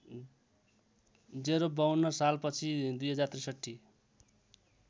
०५२ सालपछि २०६३